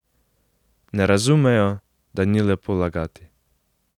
Ne razumejo, da ni lepo lagati.